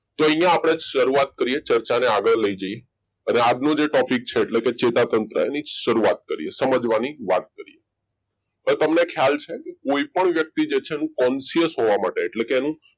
અહીંયા આપણે શરૂઆત કરીએ ચર્ચાને આગળ લઈ જઈએ આજનો જે topic છે એટલે કે ચેતાતંત્રની શરૂઆત કરીએ સમજવાની હવે તમને ખ્યાલ છે કોઈપણ વ્યક્તિ છે એનો conscious હોવા માટે એટલે કે એનો